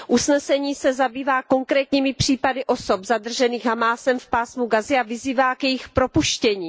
Usnesení se zabývá konkrétními případy osob zadržených Hamásem v Pásmu Gazy a vyzývá k jejich propuštění.